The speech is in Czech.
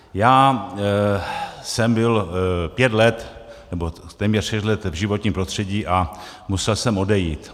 Já jsem byl pět let, nebo téměř šest let v životním prostředí a musel jsem odejít.